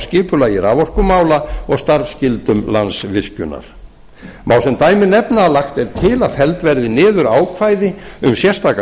skipulagi raforkumála og starfsskyldum landsvirkjunar má sem dæmi nefna að lagt er til að felld verði niður ákvæði um sérstakan